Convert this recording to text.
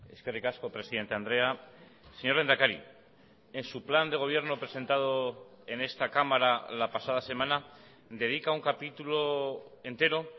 eskerrik asko presidente andrea señor lehendakari en su plan de gobierno presentado en esta cámara la pasada semana dedica un capítulo entero